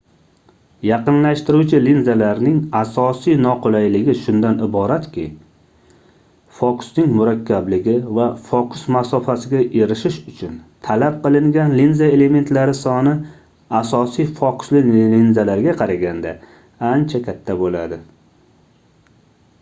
yaqinlashtiruvchi linzalarning asosiy noqulayligi shundan iboratki fokusning murakkabligi va fokus masofasiga erishish uchun talab qilingan linza elementlari soni asosiy fokusli linzalarga qaraganda ancha katta boʻladi